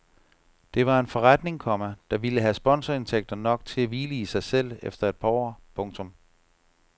Det var en forretning, komma der ville have sponsorindtægter nok til at hvile i sig selv efter et par år. punktum